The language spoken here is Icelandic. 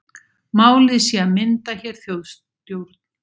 Málið sé að mynda hér þjóðstjórn